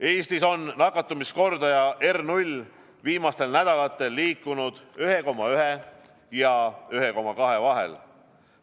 Eestis on nakatumiskordaja R0 viimastel nädalatel liikunud 1,1 ja 1,2 vahel.